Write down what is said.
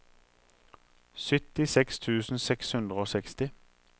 syttiseks tusen seks hundre og seksti